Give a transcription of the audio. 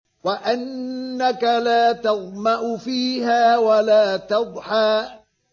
وَأَنَّكَ لَا تَظْمَأُ فِيهَا وَلَا تَضْحَىٰ